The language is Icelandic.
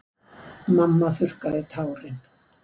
Mamma þurrkaði tárin.